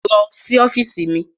Lọ sí ọ́fíìsì mi.